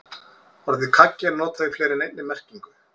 Orðið kaggi er notað í fleiri en einni merkingu.